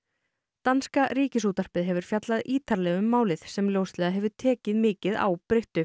danska Ríkisútvarpið hefur fjallað ítarlega málið sem ljóslega hefur tekið mikið á